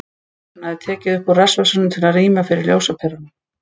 Hann hafði tekið hann úr rassvasanum til að rýma fyrir ljósaperunum.